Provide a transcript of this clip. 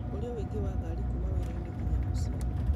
ũrĩa ũingĩ wa ngari kuuma wĩra-inĩ nginya mũciĩ